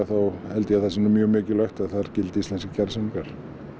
þá held ég að það sé nú mjög mikilvægt að þar gildi íslenskir kjarasamningar